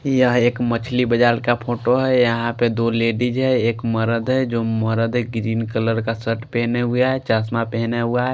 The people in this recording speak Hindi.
यह एक मछली बजार का फोंटो है यहां पे दो लेडिस है एक मरद है जो मरद है ग्रीन कलर का शर्ट पेहने हुए है चश्मा पेहना हुआ है।